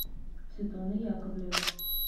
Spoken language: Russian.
светлана яковлева